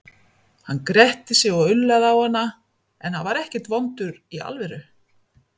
Hann gretti sig og ullaði á hana, en hann var ekkert vondur í alvöru.